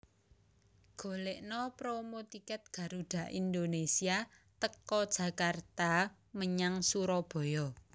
Golekno promo tiket Garuda Indonesia teko Jakarta menyang Suroboyo